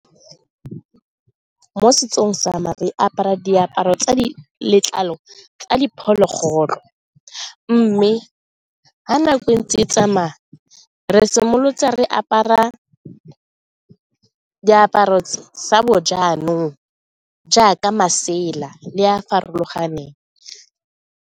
Mo setsong sa me re apara diaparo tsa letlalo tsa diphologolo mme ga nako e ntse e tsamaya re simolotse re apara diaparo sa bo jaanong jaaka masela le a a farologaneng.